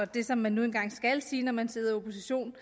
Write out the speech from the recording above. det som man nu engang skal sige når man sidder i opposition